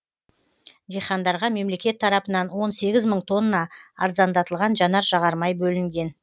дихандарға мемлекет тарапынан он сегіз мың тонна арзандатылған жанар жағармай бөлінген